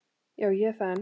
Já, ég er það enn.